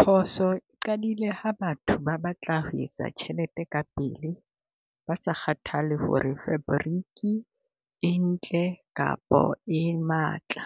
Phoso e qadile ha batho ba batla ho etsa tjhelete ka pele, ba se kgathale ho re fabriki e ntle kapo e matla.